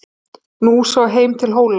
Nú sá heim til Hóla.